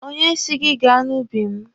Onye si gị gaa n'ubi m?